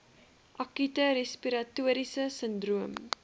akute respiratoriese sindroom